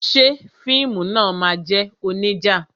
Ṣé fíìmù náà máa jẹ́ onija?